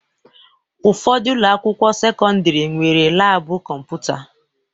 Ụfọdụ ụlọakwụkwọ sekọndịrị nwere laabụ kọmputa